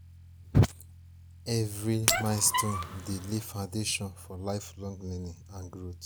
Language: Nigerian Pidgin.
early milestones dey lay foundation for lifelong learning and growth.